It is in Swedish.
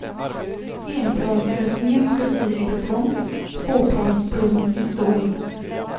Enplanslösningen skulle bli i betong, tvåplansbron i stål.